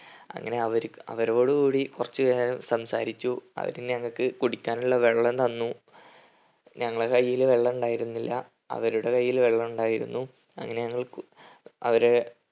അങ്ങനെ അവര് അവരോടു കൂടി കുറച്ച് നേരം സംസാരിച്ചു അവർ ഞങ്ങൾക്ക് കുടിക്കാനുള്ള വെള്ളം തന്നു ഞങ്ങളെ കയ്യിൽ വെള്ളമുണ്ടായിരുന്നില്ല അവരുടെ കയ്യിൽ വെള്ളമുണ്ടായിരുന്നു അങ്ങനെ ഞങ്ങൾ അവരെ